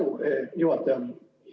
Suur tänu, juhataja!